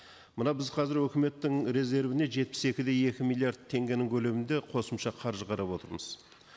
мына біз қазір өкіметтің резервне жетпіс екі де екі миллиард теңгенің көлемінде қосымша қаржы қарап отырмыз